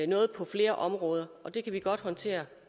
noget på flere områder og det kan vi godt håndtere